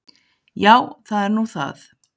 Já, það er nú það.